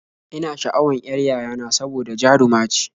Ina sha'awan y'ar yayana saboda jaruma ce